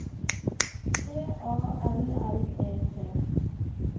T A L L E T